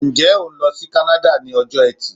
Ǹjẹ́ o ń lọ sí kánáda ni ọjọ eti